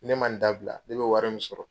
Ni ne ma nin dabila ne bi wari min sɔrɔ